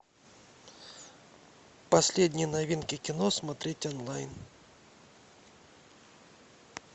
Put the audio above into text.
последние новинки кино смотреть онлайн